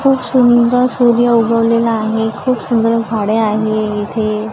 खूप सुंदर सूर्य उगवलेला आहे खूप सुंदर झाडे आहे इथे.